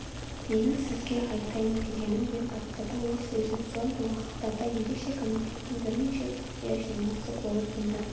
менің сізге айтайын дегенім деп бастады ол сөзін соңғы уақыттарда ерекше комитеттің бірнеше рет құпия жиналысы болып онда